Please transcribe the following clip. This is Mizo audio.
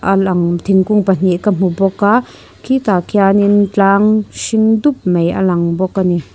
a lang thingkung pahnih ka hmu bawk a khitah khian in tlang hring dup mai alang bawk a ni.